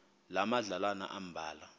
loo madlalana ambalwa